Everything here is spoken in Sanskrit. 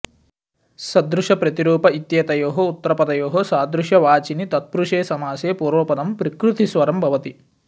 सदृश प्रतिरूप इत्येतयोः उत्तरपदयोः सादृश्यवाचिनि तत्प्रुषे समासे पूर्वपदम् प्रकृतिस्वरं भवति